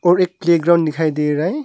और एक प्लेग्राउंड दिखाई दे रहा है।